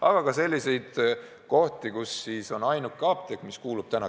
Aga on ka selliseid kohti, kus ainuke apteek kuulub ketti.